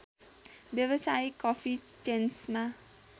व्यावसायिक कफी चेन्समा